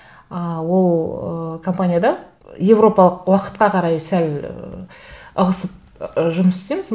ы ол ыыы компанияда европалық уақытқа қарай сәл ы ығысып ы жұмыс істейміз